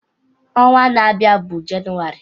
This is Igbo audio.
Ọnwa na-abịa bụ Jenụwarị.